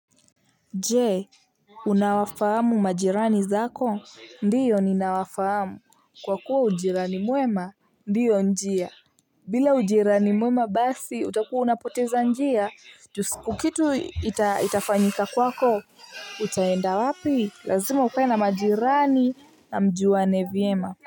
Jee unawafahamu majirani zako ndiyo ninawafahamu kwa kuwa ujirani mwema ndiyo njia. Bila ujirani mwema basi utakuwa unapoteza njia ju siku kitu ita itafanyika kwako. Utaenda wapi lazima ukae na majirani na mjuane vyema.